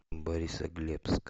борисоглебск